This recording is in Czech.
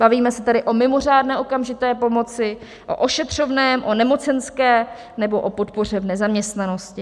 Bavíme se tady o mimořádné okamžité pomoci, o ošetřovném, o nemocenské nebo o podpoře v nezaměstnanosti.